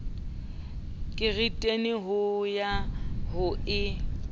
kereiting ho ya ho e